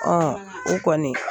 Ɔn o kɔni